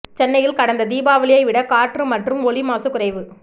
சென்னையில் கடந்த தீபாவளியை விட காற்று மற்றும் ஒலி மாசு குறைவு